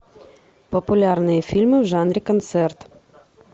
популярные фильмы в жанре концерт